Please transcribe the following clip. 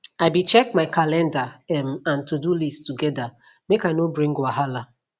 i be check my calendar um and todo list together make i no bring wahala